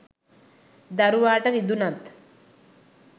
දරුවාට රිදුනත්,